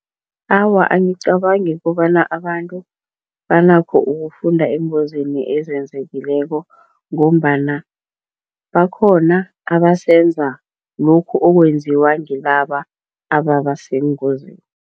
Awa, angicabangi kobana abantu banakho ukufunda eengozini ezenzekileko ngombana bakhona abasenza lokhu okwenziwa ngilaba ababaseengozini.